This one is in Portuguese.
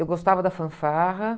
Eu gostava da fanfarra